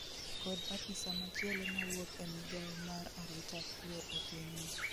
kod apisa machielo mawuok e migawo mar arita kwe e pinyno